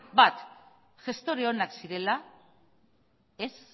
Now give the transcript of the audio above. bat gestore onak zirela ez